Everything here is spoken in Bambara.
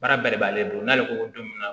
Baara bɛɛ de b'ale bolo n'ale ko ko don min na